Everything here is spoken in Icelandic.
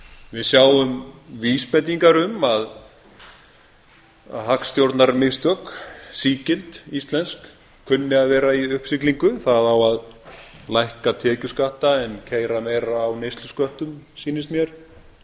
við sjáum vísbendingar um að hagstjórnarmistök sígild íslensk kunni að vera í uppsiglingu að á að lækka tekjuskatta en keyra meira á neyslusköttum sýnist mér